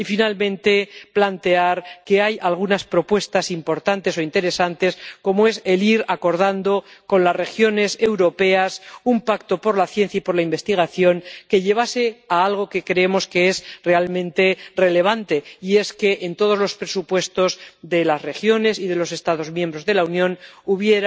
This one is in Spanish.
Y, finalmente, plantear que hay algunas propuestas importantes o interesantes, como es el ir acordando con las regiones europeas un pacto por la ciencia y por la investigación que lleve a algo que creemos que es realmente relevante, y es que en todos los presupuestos de las regiones y de los Estados miembros de la Unión un